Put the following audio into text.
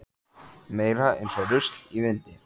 Meira eins og rusl í vindi.